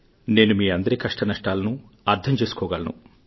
నేను మీ అందరి కష్టనష్టాలను అర్థం చేసుకోగలను